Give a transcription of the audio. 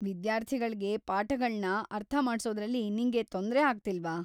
ವಿದ್ಯಾರ್ಥಿಗಳ್ಗೆ ಪಾಠಗಳ್ನ ಅರ್ಥ ಮಾಡ್ಸೋದ್ರಲ್ಲಿ ನಿಂಗೆ ತೊಂದ್ರೆ ಆಗ್ತಿಲ್ವಾ?